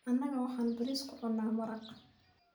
anaga waxan baris kucunnaa maraq